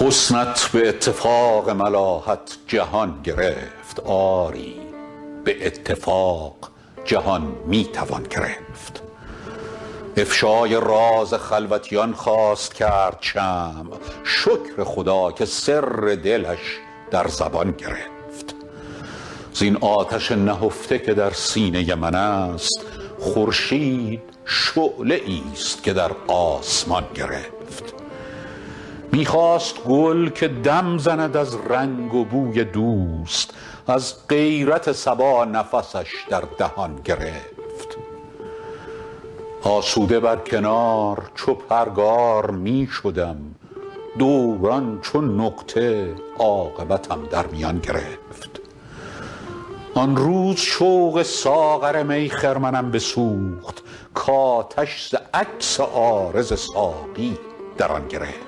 حسنت به اتفاق ملاحت جهان گرفت آری به اتفاق جهان می توان گرفت افشای راز خلوتیان خواست کرد شمع شکر خدا که سر دلش در زبان گرفت زین آتش نهفته که در سینه من است خورشید شعله ای ست که در آسمان گرفت می خواست گل که دم زند از رنگ و بوی دوست از غیرت صبا نفسش در دهان گرفت آسوده بر کنار چو پرگار می شدم دوران چو نقطه عاقبتم در میان گرفت آن روز شوق ساغر می خرمنم بسوخت کآتش ز عکس عارض ساقی در آن گرفت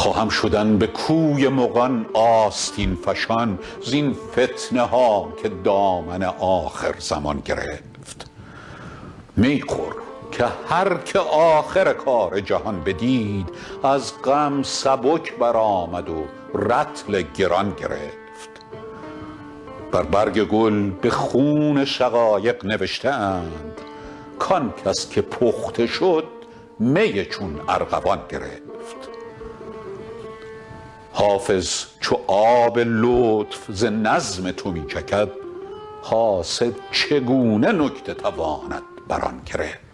خواهم شدن به کوی مغان آستین فشان زین فتنه ها که دامن آخرزمان گرفت می خور که هر که آخر کار جهان بدید از غم سبک برآمد و رطل گران گرفت بر برگ گل به خون شقایق نوشته اند کآن کس که پخته شد می چون ارغوان گرفت حافظ چو آب لطف ز نظم تو می چکد حاسد چگونه نکته تواند بر آن گرفت